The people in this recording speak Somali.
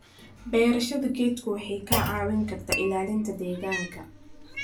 Beerashada geedku waxay kaa caawin kartaa ilaalinta deegaanka.